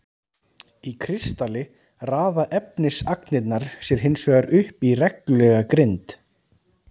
Í kristalli raða efnisagnirnar sér hinsvegar upp í reglulega grind.